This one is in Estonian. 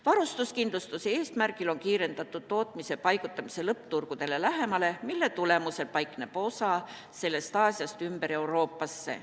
Varustuskindluse eesmärgil on kiirendatud tootmise paigutamist lõppturgudele lähemale, mille tulemusel paigutub Aasiast osa ümber Euroopasse.